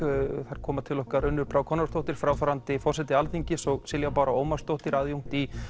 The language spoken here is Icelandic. þar koma til okkar Unnur Brá Konráðsdóttir fráfarandi forseti Alþingis og Silja Bára Ómarsdóttir aðjúnkt í